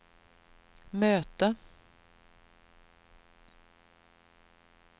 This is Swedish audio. möte